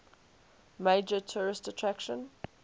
major tourist attraction